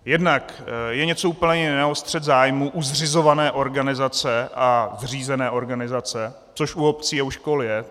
Jednak je něco úplně jiného střet zájmů u zřizované organizace a zřízené organizace, což u obcí a u škol je.